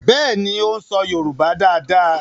Béèni o ń so yorùbá dá dá.